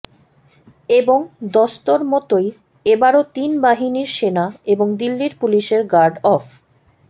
এবং দস্তুরমতোই এবারও তিন বাহিনীর সেনা এবং দিল্লির পুলিশের গার্ড অফ